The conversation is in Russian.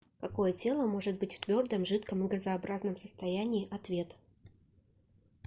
какое тело может быть в твердом жидком и газообразном состоянии ответ